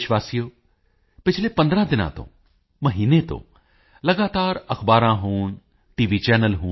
ਮੇਰੇ ਪਿਆਰੇ ਦੇਸ਼ ਵਾਸੀਓ ਪਿਛਲੇ 15 ਦਿਨਾਂ ਤੋਂ ਮਹੀਨੇ ਤੋਂ ਲਗਾਤਾਰ ਅਖ਼ਬਾਰਾਂ ਹੋਣ ਟੀ